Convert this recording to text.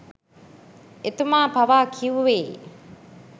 එතුමා පවා කිව්වෙ